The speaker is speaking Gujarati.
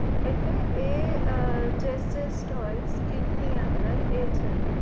એટલે એ અ હોય skin ની અંદર એ છે